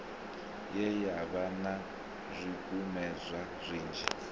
ye yavha na zwikumedzwa zwinzhi